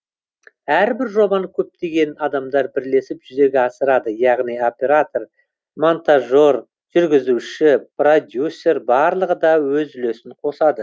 әрбір жобаны көптеген адамдар бірлесіп жүзеге асырады яғни оператор монтажер жүргізуші продюсер барлығы да өз үлесін қосады